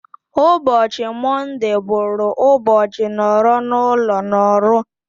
Ụbọchị mondee bụrụ ụbọchị nọrọ n'ụlo n'Orlu